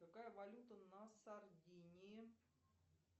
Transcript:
какая валюта на сардинии